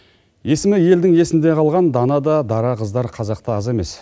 есімі елдің есінде қалған дана да дара қыздар қазақта аз емес